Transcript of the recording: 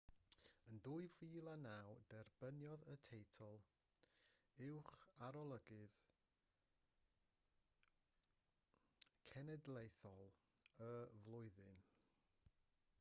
yn 2009 derbyniodd y teitl uwcharolygydd cenedlaethol y flwyddyn